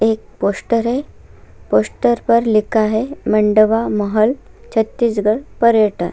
ये एक पोस्टर है पोस्टर पर लिखा है मंडवा महल छत्तीसगढ़ पर्यटन।